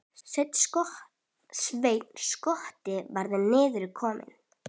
Sveinn skotti væri niður kominn.